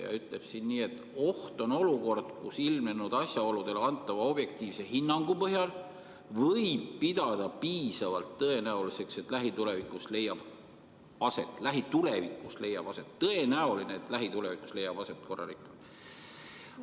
Seadus ütleb nii: "Oht on olukord, kus ilmnenud asjaoludele antava objektiivse hinnangu põhjal võib pidada piisavalt tõenäoliseks, et lähitulevikus leiab aset korrarikkumine.